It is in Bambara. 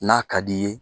N'a ka d'i ye